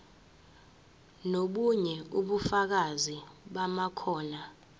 nobunye ubufakazi bamakhono